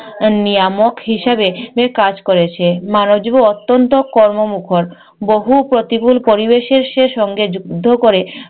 নিয়ামক হিসাবে কাজ করেছে। মানবজীবন অত্যন্ত কর্মমুখর। বহু প্রতিকুল পরিবেশের সে সে সঙ্গে যুদ্ধ করে